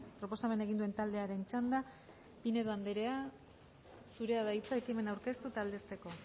proposamena egin duen taldearen txanda pinedo anderea zurea da hitza ekimena aurkeztu eta aldezteko